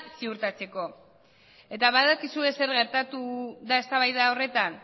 ziurtatzeko eta badakizue zer gertatu den eztabaida horretan